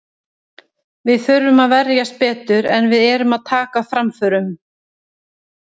Við þurfum að verjast betur, en við erum að taka framförum.